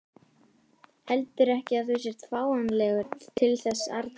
Heldurðu ekki að þú sért fáanlegur til þess arna?